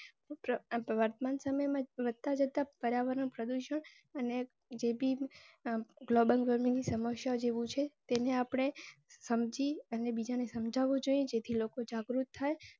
વર્તમાન સમય માં વધતા જતા પાર્યાવરણ પ્રદુષણ અને જ ભી global ગરમી ની સમસ્યા જેવું છે તેને આપણે સમજી અને બીજા ને સમજવું જોઈએ જેથી લોકો જાગૃત થાય.